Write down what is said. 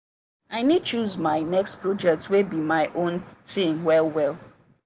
i need choose my next project wey be my own thing well well.